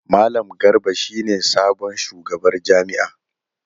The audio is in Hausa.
Malam Garba shi ne sabon shugabar jami’ar.